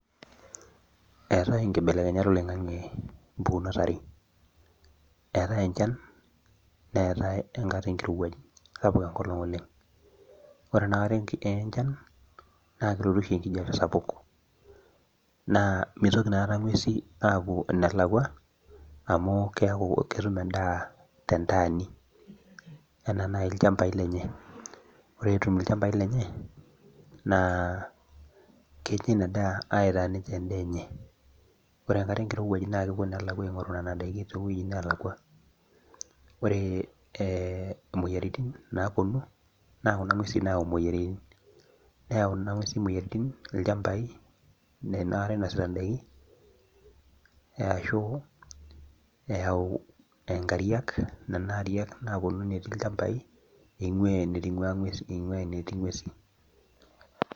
Eetae inkibelekenyat oloingang'e mpukunot are, eetae enchan neetae enkata enkirowuaj sapuk enkolong' Oleng, ore enkata enchan naa kelotu oshi ekijiappe sapuk, naa mitoki inakata ng'uesin aapuo enelakua amu ketum edaa tentaani. anaa naaji ilchampai lenye. ore etum ilchampai lenye. naa Kenya Ina saa aitaas ninche edaa enye. ore enkata enkirowuaj as kepuo aing'oru Nena daikin too wuejitin neelakua. ore imoyiaritin naapuonu naa Kuna nguesi naayau imoyiaritin. ore ilchampai ena kata inosita daikin, aashu eyau inkariak, Nena Ariak metii ilchampai ing'ua enitungua nguesi.